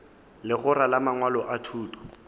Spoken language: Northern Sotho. legora la mangwalo a thuto